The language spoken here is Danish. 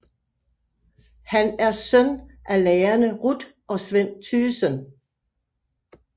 Han er søn af lærerne Ruth og Sven Tygesen